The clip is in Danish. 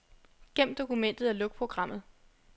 Gem dokumentet og luk programmet.